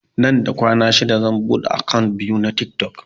Nan da kwana shida zan buɗe akant biyu na tiktok